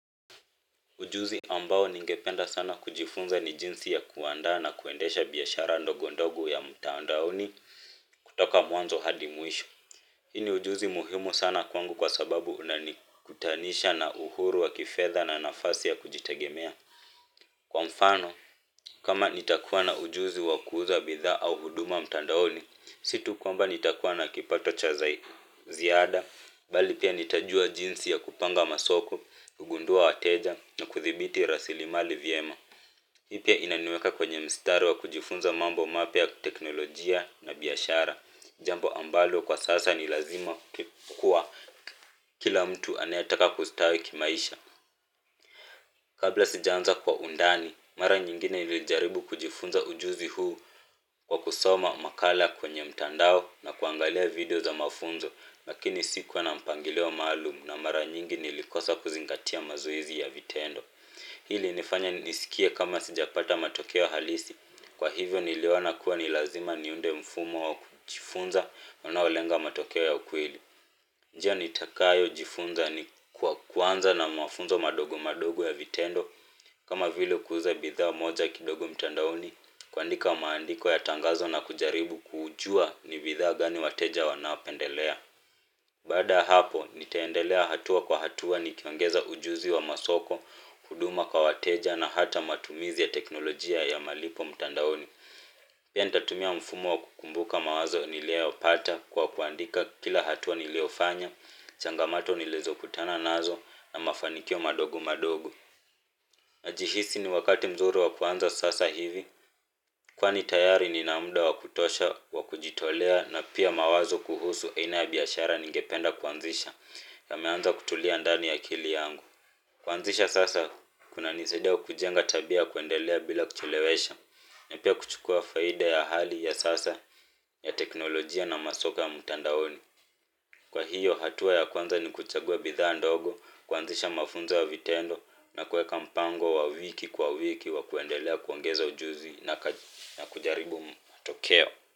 Ujuzi ambao ningependa sana kujifunza ni jinsi ya kuandaa na kuendesha biashara ndogo ndogo ya mtandaoni kutoka mwanzo hadi mwisho. Hi ni ujuzi muhimu sana kwangu kwa sababu unanikutanisha na uhuru wa kifedha na nafasi ya kujitegemea. Kwa mfano, kama nitakuwa na ujuzi wa kuuza bidhaa au huduma mtandaoni, si tu kwamba nitakuwa na kipato cha ziada, bali pia nitajua jinsi ya kupanga masoko, kugundua wateja na kuthibiti rasilimali vyema. Hii pia inaniweka kwenye mistari wa kujifunza mambo mapya ya teknolojia na biashara. Jambo ambalo kwa sasa ni lazima kuwa kila mtu anayetaka kustawi kimaisha. Kabla sijaanza kwa undani, mara nyingine nilijaribu kujifunza ujuzi huu kwa kusoma makala kwenye mtandao na kuangalia video za mafunzo lakini sikuwa na mpangilio maalumu na mara nyingine nilikosa kuzingatia mazoezi ya vitendo hii ilinifanya nisikie kama sijapata matokeo halisi, kwa hivyo niliona kuwa ni lazima niunde mfumo wa kujifunza unaolenga matokeo ya ukweli njia nitakayo jifunza ni kwa kuanza na mafunzo madogo madogo ya vitendo kama vile kuuza bidhaa moja kidogo mtandaoni kuandika maandiko ya tangazo na kujaribu kujua ni bidhaa gani wateja wanapendelea. Baada ya hapo nitaendelea hatua kwa hatua nikiongeza ujuzi wa masoko, huduma kwa wateja na hata matumizi ya teknolojia ya malipo mtandaoni pia nitatumia mfumo wa kukumbuka mawazo nilioyapata kwa kuandika kila hatua niliofanya, changamoto nilizokutana nazo na mafanikio madogo madogo. Najihisi ni wakati mzuri wa kuanza sasa hivi. Kwani tayari nina muda wa kutosha, wa kujitolea na pia mawazo kuhusu aina ya biashara ningependa kuanzisha yameanza kutulia andani ya akili yangu. Kuanzisha sasa kunanisaidia kujenga tabia kuendelea bila kuchelewesha na pia kuchukua faida ya hali ya sasa ya teknolojia na masoko ya mtandaoni kwa hiyo hatua ya kwanza ni kuchagua bidhaa ndogo kuanzisha mafunzo ya vitendo na kuweka mpango wa wiki kwa wiki wa kuendelea kuongeza ujuzi na kujaribu matokeo.